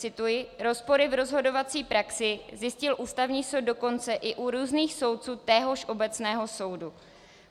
Cituji: Rozpory v rozhodovací praxi zjistil Ústavní soud dokonce i u různých soudců téhož obecného soudu.